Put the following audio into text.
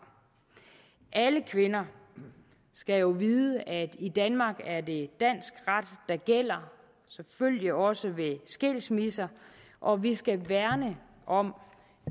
alle kvinder skal jo vide at i danmark er det dansk ret der gælder selvfølgelig også ved skilsmisser og vi skal værne om